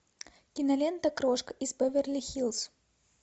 кинолента крошка из беверли хиллз